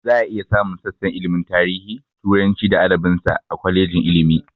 Za a iya samun sassan ilmin tarihi, turanci da adabin sa, a kwalejin ilmi